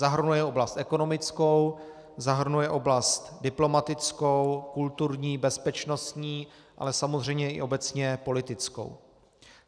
Zahrnuje oblast ekonomickou, zahrnuje oblast diplomatickou, kulturní, bezpečnostní, ale samozřejmě i obecně politickou.